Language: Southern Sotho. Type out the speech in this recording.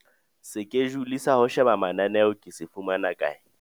Sekejule sa ho sheba mananeo ke se fumana kae?